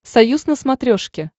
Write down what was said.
союз на смотрешке